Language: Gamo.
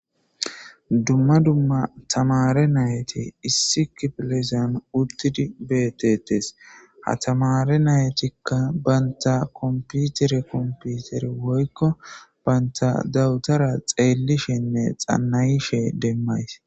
Duma duma tamare nayti issi kifilezan utidi betetes ha tamare naytika banita kompitere kompitere woyko banita dawutara xelishenne xanayishe demays.